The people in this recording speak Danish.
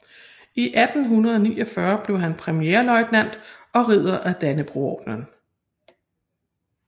I 1849 blev han premierløjtnant og Ridder af Dannebrogordenen